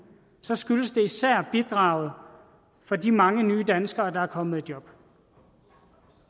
skyldes det især bidraget fra de mange nye danskere der er kommet i job